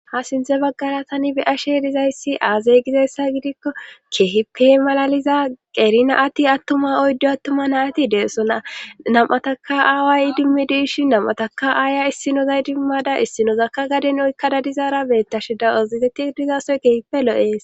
ha sinthe baggara tani beyashe dizayssi aazey gizayssa gidikko keehipe malaliza qerina ati attuma oyddo attuma nayati deessona nam7ataka aawaay idimmi diishi namataka aaya issinozay idimmada issinozakka gaden oykka dadizaara beettashe dawazitetti dizasoy kehipe lo7ees